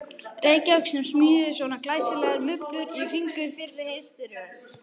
Reykjavík sem smíðuðu svona glæsilegar mublur í kringum fyrri heimsstyrjöld.